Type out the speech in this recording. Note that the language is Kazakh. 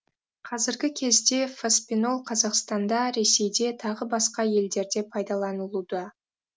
қазіргі кезде фоспинол қазақстанда ресейде тағы басқа елдерде пайдаланылуда